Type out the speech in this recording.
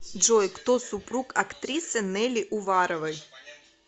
джой кто супруг актрисы нелли уваровои